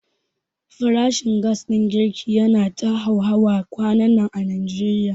Farashin gas ɗin girki yana ta hauhawa kwanannan a Najeriya.